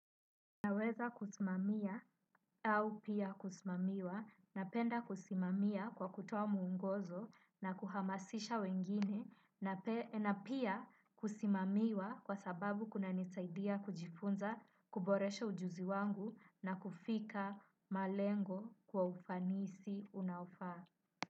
Naweza kusimamia au pia kusimamiwa napenda kusimamia kwa kutoa muongozo na kuhamasisha wengine na pia kusimamiwa kwa sababu kuna nisaidia kujifunza kuboresha ujuzi wangu na kufika malengo kwa ufanisi unaofaa.